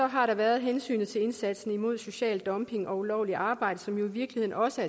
har der været hensynet til indsatsen imod social dumping og ulovligt arbejde som jo i virkeligheden også